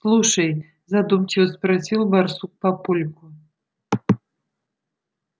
слушай задумчиво спросил барсук папульку